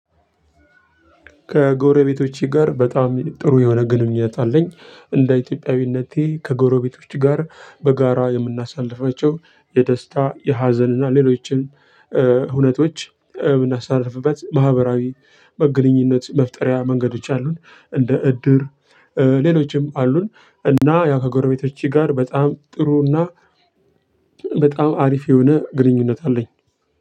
ከጎረቤቶቼ ጋር በጣም ጥሩ የሆነ ግንኙነት አለኝ። እንደ ኢትዮጵያዊነቴ ከጎረቤቶች ጋር በጋራ የምናሳልፋቸው የደስታ ፥የሀዘን እና ሌሎችንም እውነቶች የምናስተላልፍበት ማህበራዊ ግንኙነት መፍጠሪያ መንገዶች አሉን። እንደ እድር ሌሎችም አሉን እና ያ ከጎረቤቶቼ ጋር በጣም ጥሩና በጣም አሪፍ የሆነ ግንኙነት አለኝ።